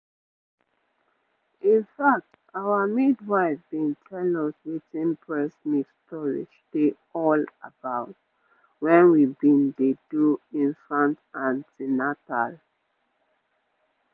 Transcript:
in fact our midwife been tell us wetin breast milk storage dey all about when we been dey do infact an ten atal